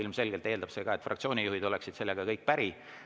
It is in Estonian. Ilmselgelt eeldab see, et ka kõik fraktsioonide juhid oleks sellega päri.